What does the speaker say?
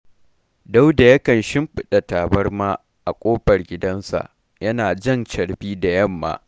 Dauda yakan shimfiɗa tabarma a ƙofar gidansa, yana jan carbi da yamma